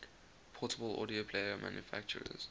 portable audio player manufacturers